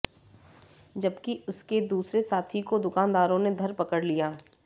जबकि उसके दूसरे साथी को दुकानदारों ने धर पकड़ लिया